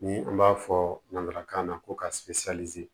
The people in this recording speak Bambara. Ni an b'a fɔ nanzarakan na ko ka